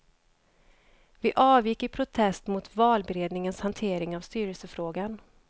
Vi avgick i protest mot valberedningens hantering av styrelsefrågan.